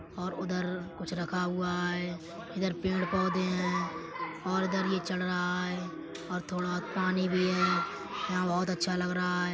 और उधर कुछ रखा हुआ है। इधर पेड़ पौधे हैं और इधर ये चढ़ रहा है और थोड़ा पानी भी है। यहां बोहोत अच्छा लग रहा है।